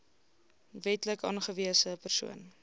wetlik aangewese persoon